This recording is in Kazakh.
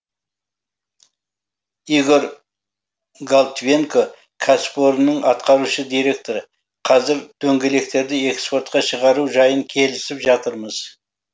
игорь голтвенко кәсіпорынның атқарушы директоры қазір дөңгелектерді экспортқа шығару жайын келісіп жатырмыз